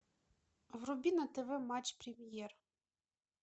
вруби на тв матч премьер